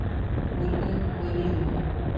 ольга вавилова